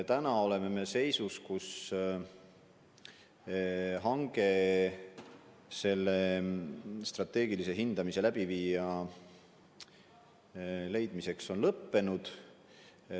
Täna oleme seisus, kus hange strateegilise hindamise läbiviija leidmiseks on lõppenud.